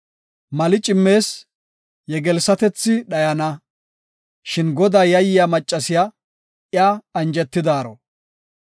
Mali cimmees; yegelssatethi dhayana. Shin Godaa yayiya maccasiya, iya anjetidaaro.